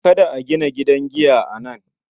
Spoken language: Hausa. Kada a gina gidan giya a nan.